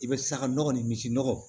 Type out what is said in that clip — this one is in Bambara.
I bɛ saga nɔgɔ ni misi nɔgɔ